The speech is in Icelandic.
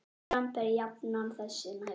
Dramb er jafnan þessu næst.